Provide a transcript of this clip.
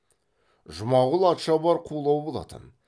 жұмағұл атшабар қулау болатын